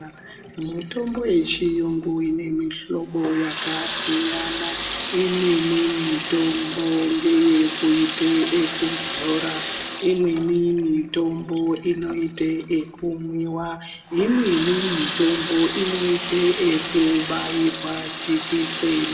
Mitombo yechiyungu inemihlobo yakasiyana, imweni mitombo ngeyekuite ekuzora. Imweni mitombo inoite ekumwiwa, imweni mitombo inoite ekubairwa jekiseni.